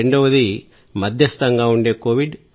రెండవది మధ్యస్థంగా ఉండే కోవిడ్